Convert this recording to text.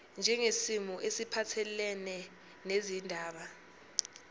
njengesimo esiphathelene nezindaba